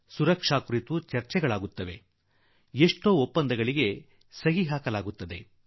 ಭದ್ರತೆಗೆ ಸಂಬಂಧಪಟ್ಟ ಮಾತುಗಳು ಕೆಲವು ಜ್ಞಾಪನಾ ಪತ್ರಗಳು ತಯಾರಾಗುತ್ತವೆ